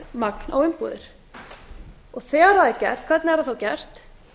saltmagn á umbúðir þegar það er gert hvernig er það þá gert